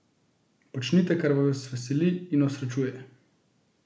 Počnite, kar vas veseli in osrečuje!